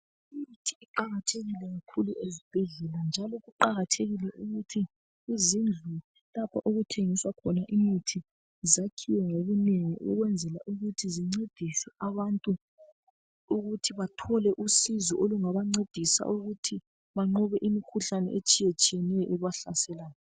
Imithi iqakathekile kakhulu ezibhedlela njalo kuqakathekile ukuthi izindlu lapho okuthengiswa khona imithi zakhiwe ngobunengi ukwenzela ukuthi zincedise abantu ukuthi bathole usizo olungaba ncedisa ukuthi banqobe imikhuhlane etshiye tshiyeneyo ebahlaselayo